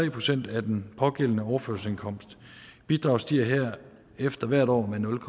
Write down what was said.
procent af den pågældende overførselsindkomst bidraget stiger herefter hvert år med nul